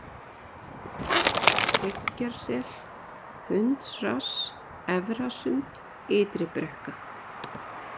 Hryggjarsel, Hundsrass, Efrasund, Ytri-Brekka